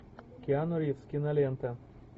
киану ривз кинолента